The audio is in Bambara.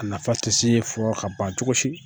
A nafa tɛ se fɔ ka ban cogosi.